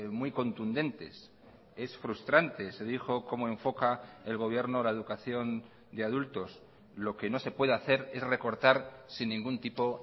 muy contundentes es frustrante se dijo cómo enfoca el gobierno la educación de adultos lo que no se puede hacer es recortar sin ningún tipo